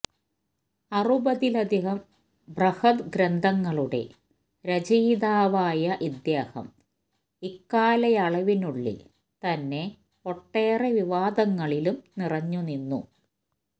അറുപതിലധികം ബ്രഹദ് ഗ്രന്ഥങ്ങളുടെ രചയിതാവായ ഇദ്ദേഹം ഇക്കാലയളവിനുള്ളിൽ തന്നെ ഒട്ടേറെ വിവാദങ്ങളിലും നിറഞ്ഞുനിന്നു